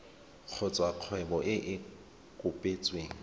kgotsa kgwebo e e kopetsweng